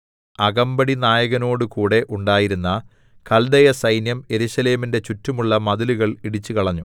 അകമ്പടിനായകനോടുകൂടെ ഉണ്ടായിരുന്ന കൽദയസൈന്യം യെരൂശലേമിന്റെ ചുറ്റുമുള്ള മതിലുകൾ ഇടിച്ചുകളഞ്ഞു